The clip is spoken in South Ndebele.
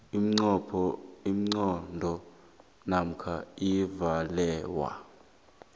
ingqondo namkha uvalelwa